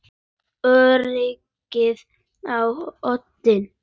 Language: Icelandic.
Öryggið á oddinn!